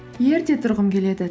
ерте тұрғым келеді